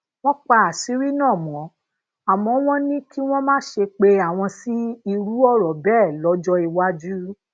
wón pa àṣírí náà mó àmó wón ní kí wón má ṣe pe awon sí iru òro bee lójó iwájú